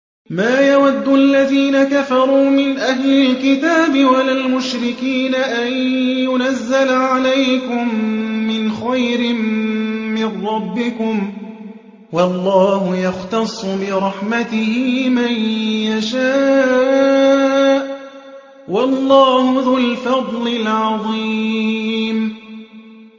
مَّا يَوَدُّ الَّذِينَ كَفَرُوا مِنْ أَهْلِ الْكِتَابِ وَلَا الْمُشْرِكِينَ أَن يُنَزَّلَ عَلَيْكُم مِّنْ خَيْرٍ مِّن رَّبِّكُمْ ۗ وَاللَّهُ يَخْتَصُّ بِرَحْمَتِهِ مَن يَشَاءُ ۚ وَاللَّهُ ذُو الْفَضْلِ الْعَظِيمِ